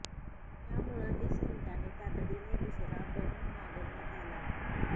त्यामुळे वीस मिनिटांनी तातडीने दुसरा बंब मागवण्यात आला